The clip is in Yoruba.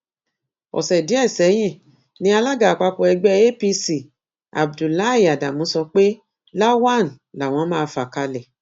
ọsẹ díẹ sẹyìn ni alága àpapọ ẹgbẹ apc abdullahi adamu sọ pé lawan làwọn máa fà kalẹ